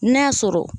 N'a sɔrɔ